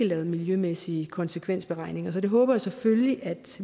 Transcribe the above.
lavet miljømæssige konsekvensberegninger det håber jeg selvfølgelig